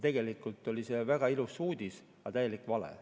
See oli väga ilus uudis, aga tegelikult täielik vale.